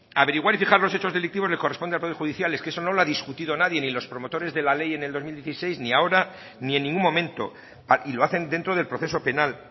averiguar y fijar los hechos delictivos le corresponde al poder judicial es que eso no lo ha discutida nadie ni los promotores de la ley en el dos mil dieciséis ni ahora ni en ningún momento y lo hacen dentro del proceso penal